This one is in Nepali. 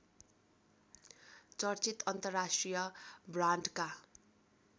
चर्चित अन्तर्राष्ट्रिय ब्रान्डका